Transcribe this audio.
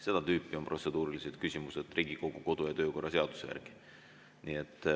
Seda tüüpi on protseduurilised küsimused Riigikogu kodu‑ ja töökorra seaduse järgi.